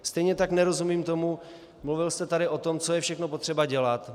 Stejně tak nerozumím tomu, mluvil jste tady o tom, co je všechno potřeba dělat.